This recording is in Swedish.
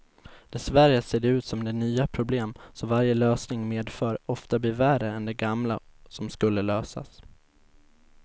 Dessvärre ser det ut som de nya problem som varje lösning medför ofta blir värre än de gamla som skulle lösas.